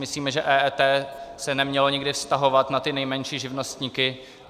Myslíme si, že EET se nemělo nikdy vztahovat na ty nejmenší živnostníky.